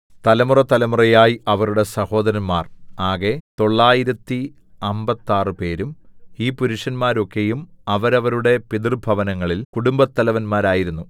തലമുറതലമുറയായി അവരുടെ സഹോദരന്മാർ ആകെ തൊള്ളായിരത്തി അമ്പത്താറ്പേരും ഈ പുരുഷന്മാരൊക്കെയും അവരവരുടെ പിതൃഭവനങ്ങളിൽ കുടുംബത്തലവന്മാരായിരുന്നു